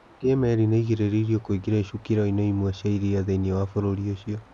Ningĩ meri nĩ ĩgirĩrĩirio kũingĩra icukĩro-inĩ imwe cia iria thĩinĩ wa bũrũri ũcio.